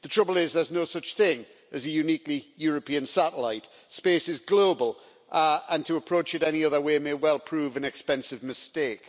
The trouble is that there's no such thing as a uniquely European satellite space is global, and to approach it any other way may well prove an expensive mistake.